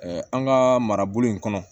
an ka marabolo in kɔnɔ